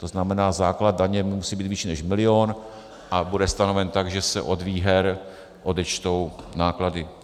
To znamená, základ daně musí být vyšší než milion a bude stanoven tak, že se od výher odečtou náklady.